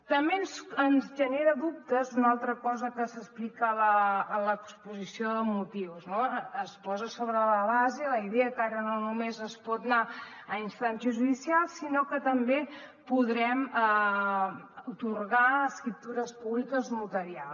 també ens genera dubtes una altra cosa que s’explica a l’exposició de motius no es posa sobre la base la idea que ara no només es pot anar a instàncies judicials sinó que també podrem atorgar escriptures públiques notarials